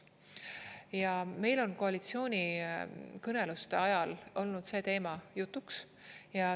Ja meil on koalitsioonikõneluste ajal olnud see teema jutuks.